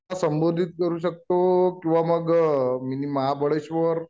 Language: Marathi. संबोधित करू शकतो किंवा मग मिनी महाबळेश्वर